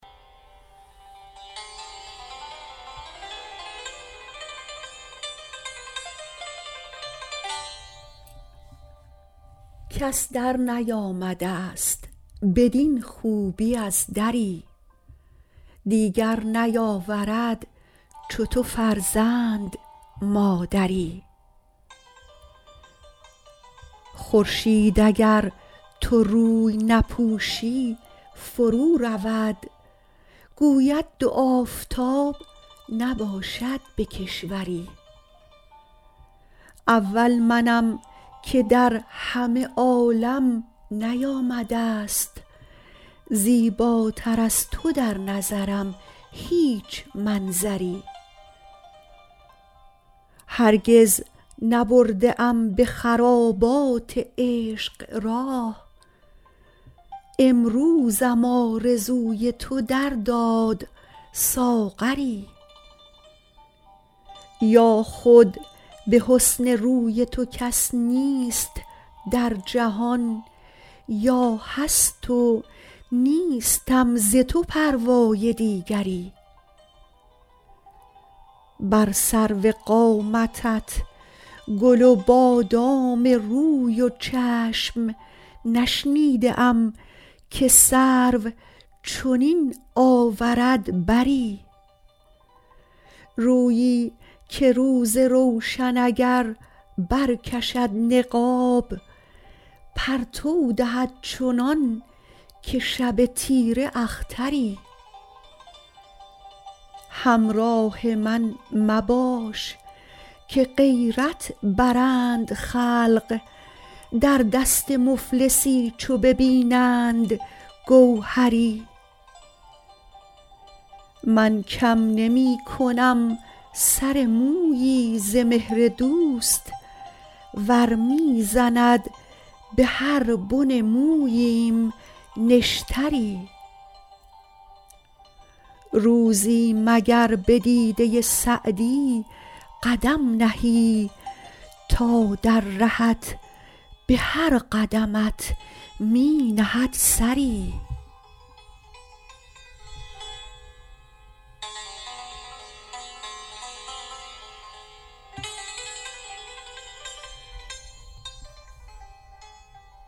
کس درنیامده ست بدین خوبی از دری دیگر نیاورد چو تو فرزند مادری خورشید اگر تو روی نپوشی فرو رود گوید دو آفتاب نباشد به کشوری اول منم که در همه عالم نیامده ست زیباتر از تو در نظرم هیچ منظری هرگز نبرده ام به خرابات عشق راه امروزم آرزوی تو در داد ساغری یا خود به حسن روی تو کس نیست در جهان یا هست و نیستم ز تو پروای دیگری بر سرو قامتت گل و بادام روی و چشم نشنیده ام که سرو چنین آورد بری رویی که روز روشن اگر برکشد نقاب پرتو دهد چنان که شب تیره اختری همراه من مباش که غیرت برند خلق در دست مفلسی چو ببینند گوهری من کم نمی کنم سر مویی ز مهر دوست ور می زند به هر بن موییم نشتری روزی مگر به دیده سعدی قدم نهی تا در رهت به هر قدمت می نهد سری